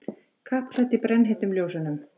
Kappklædd í brennheitum ljósunum.